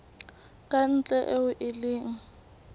ka ntle eo e leng